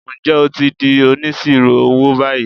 Ǹjẹ́ o ti di Onísirò owó báyìí?